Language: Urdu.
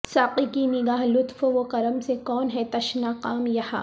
ساقی کی نگاہ لطف وکرم سے کون ہے تشنہ کام یہاں